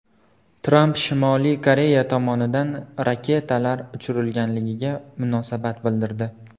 Tramp Shimoliy Koreya tomonidan raketalar uchirilganiga munosabat bildirdi.